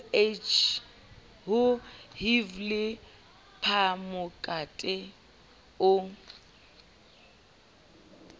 ho hiv le phamokate o